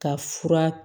Ka fura